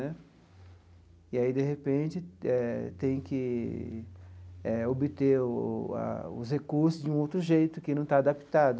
Né e aí, de repente, eh tem que eh obter o a os recursos de um outro jeito que não está adaptado.